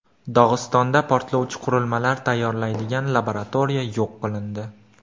Dog‘istonda portlovchi qurilmalar tayyorlaydigan laboratoriya yo‘q qilindi .